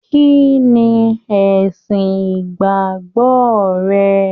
Kínní ẹsìn ìgbàgbọ rẹ?